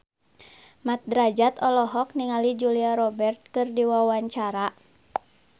Mat Drajat olohok ningali Julia Robert keur diwawancara